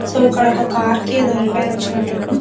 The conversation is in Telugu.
సో ఇక్కడ ఒక్క కార్ కి ఎదో రెపరె వచ్చినట్టు ఉన్నది.